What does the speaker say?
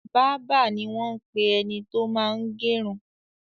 Bábà ni wọ́n ń pe ẹni tó máa ń gẹrun.